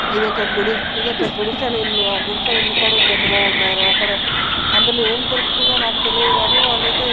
ఇది ఒక గూడి ఇది ఒక గుడిసెల ఇల్లు ఆ గుడిశెల ఇల్లు కడ్డ ఇద్దరు నిలబడ్డారు అక్కడ అందులో ఎం దొరుకుతదో నాకు తెలీదు గాని వాళ్ళు ఐతే --